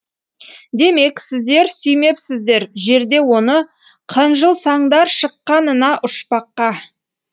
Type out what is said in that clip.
демек сіздер сүймепсіздер жерде оны қынжылсаңдар шыққанына ұшпаққа